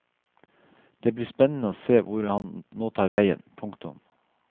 Det blir spennende å se hvor han nå tar veien. punktum